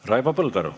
Raivo Põldaru.